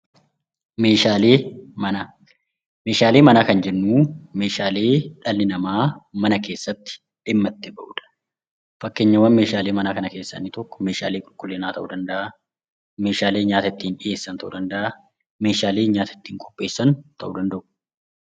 Meeshaalee manaa meeshaalee mana ka jennus kan dhalli namaa mana keessatti dhimma itti bahuudha. Fakkeenyawwan meeshaalee manaa keessa meeshaalee qulqullinaa ta'uu danda'a meeshaalee nyaata ittiinqopheessan ta'uu danda'u.